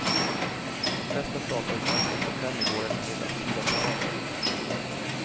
Festen startade strax efter fem i går eftermiddag sydafrikansk tid.